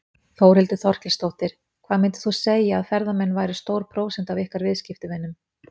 Þórhildur Þorkelsdóttir: Hvað myndir þú segja að ferðamenn væru stór prósenta af ykkar viðskiptavinum?